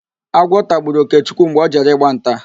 Agwọ tagburu Okechukwu mgbe ọ jere ịgba nta